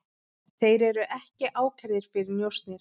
Þeir eru ekki ákærðir fyrir njósnir